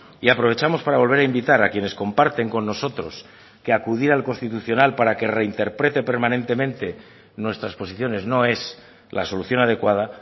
y aprovechamos para volver a invitar a quienes comparten con nosotros que acudir al constitucional para que reinterprete permanentemente nuestras posiciones no es la solución adecuada